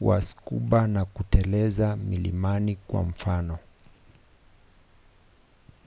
wa scuba au kuteleza milimani kwa mfano